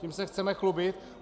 Tím se chceme chlubit?